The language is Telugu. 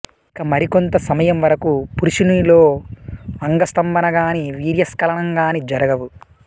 ఇక మరికొంత సమయం వరకు పురుషునిలో అంగస్థంబనగానీ వీర్యస్ఖలనం గానీ జరగవు